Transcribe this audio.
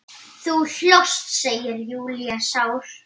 Þú hlóst, segir Júlía sár.